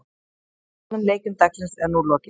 Báðum leikjum dagsins er nú lokið.